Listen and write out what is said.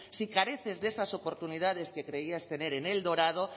si careces de esas oportunidades que creías tener en el dorado